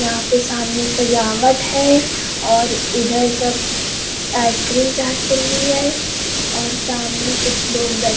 यहाँ पे सामने सजावट है और इधर सब आइसक्रीम चाट चल रही है और सामने कुछ लोग बैठ --